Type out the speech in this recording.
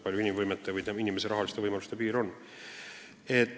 Eks ta siis tellib seda teenust vastavalt oma rahalistele võimalustele.